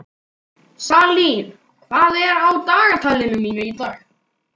Salín, hvað er á dagatalinu mínu í dag?